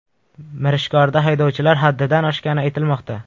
Mirishkorda haydovchilar haddidan oshgani aytilmoqda.